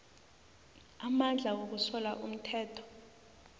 amandla wokusola umthetho